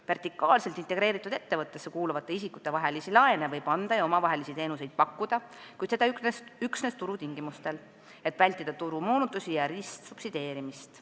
Vertikaalselt integreeritud ettevõttesse kuuluvate isikute vahel võib laene anda ja omavahel teenuseid pakkuda, kuid seda üksnes turutingimustel, et vältida turumoonutusi ja ristsubsideerimist.